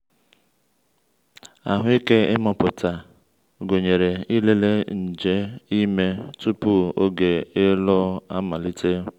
ahụ́ike ịmụpụta gụnyere ịlele nje ime tupu oge ịlụ amalite.